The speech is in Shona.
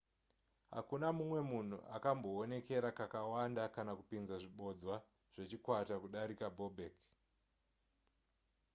hakuna mumwe munhu akambowonekera kakawanda kana kupinza zvibodzwa zvechikwata kudarika bobek